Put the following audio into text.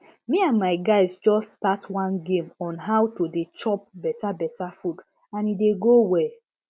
me and my guys just start one game on how to dey chop better better food and e dey go well